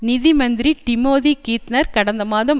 நிதி மந்திரி Timothy Geithner கடந்த மாதம்